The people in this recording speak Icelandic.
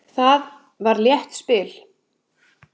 Það var létt spil.